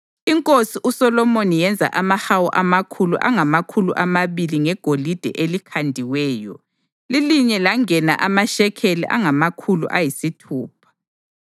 Inkosi uSolomoni yenza amahawu amakhulu angamakhulu amabili ngegolide elikhandiweyo; lilinye langena amashekeli angamakhulu ayisithupha.